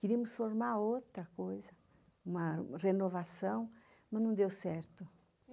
Queríamos formar outra coisa, uma renovação, mas não deu certo.